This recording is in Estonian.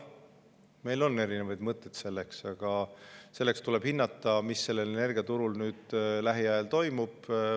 Meil on erinevaid mõtteid, aga selleks tuleb hinnata, mis energiaturul lähiajal toimub.